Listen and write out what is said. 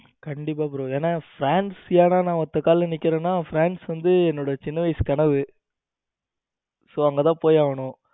கண்டிப்பா bro ஏனா france ஏன்னா நா ஒத்த கால நிக்கிறேன france வந்து என்னோட சின்ன வயசு கனவு so அங்க தான் போய் ஆகணும்.